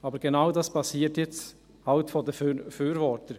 Aber genau das passiert jetzt eben durch die Befürworter.